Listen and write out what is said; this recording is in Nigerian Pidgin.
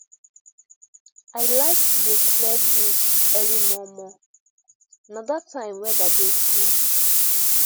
i like to dey clear bush early momo na that time weather dey cool